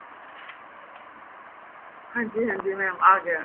ਹਾਂਜੀ ਹਾਂਜੀ mam ਆ ਗਿਆ